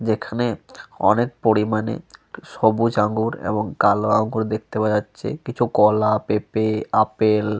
যেখানে অনেক পরিমাণে সবুজ আঙুর এবং কালো আঙুর দেখতে পাওয়া যাচ্ছে। কিছু কলা পেপে আপেল --